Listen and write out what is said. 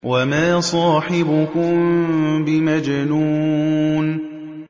وَمَا صَاحِبُكُم بِمَجْنُونٍ